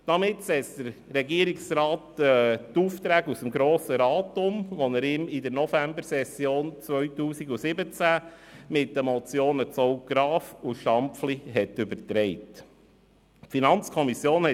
Damit setzt der Regierungsrat die Aufträge aus dem Grossen Rat um, die ihm in der Novembersession 2017 mit den Motionen Zaugg-Graf ( und Stampfli () übertragen worden sind.